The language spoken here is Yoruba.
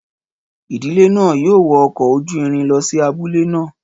Ìdílé náà yóò wọ ọkọ̀ ojú irin lọ sí abúlé náà.